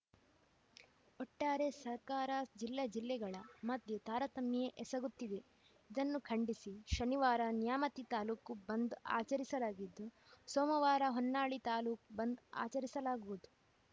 ಒಟ್ಟಾರೆ ಸರ್ಕಾರ ಜಿಲ್ಲೆ ಜಿಲ್ಲೆಗಳ ಮಧ್ಯ ತಾರತಮ್ಯ ಎಸಗುತ್ತಿವೆ ಇದನ್ನು ಖಂಡಿಸಿ ಶನಿವಾರ ನ್ಯಾಮತಿ ತಾಲೂಕು ಬಂದ್‌ ಆಚರಿಸಲಾಗಿದ್ದು ಸೋಮವಾರ ಹೊನ್ನಾಳಿ ತಾಲೂಕು ಬಂದ್‌ ಆಚರಿಸಲಾಗುವುದು